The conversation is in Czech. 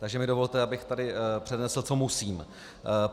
Takže mi dovolte, abych tady přednesl, co musím.